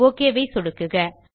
okay ஐ சொடுக்குக